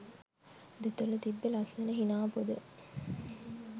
දෙතොලෙ තිබ්බ ලස්සන හිනා පොද